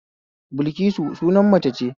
Bilƙisu sunan mace ce